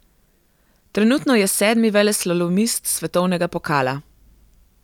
Trenutno je sedmi veleslalomist svetovnega pokala.